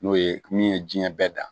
N'o ye min ye jiɲɛ bɛɛ dan